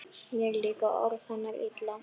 Mér líka orð hennar illa: